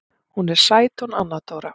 Hún er sæt hún Anna Dóra.